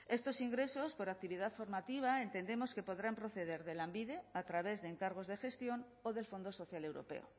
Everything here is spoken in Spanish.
estos ingresos por actividad formativa entendemos que podrán proceder de lanbide a través de encargos de gestión o del fondo social europeo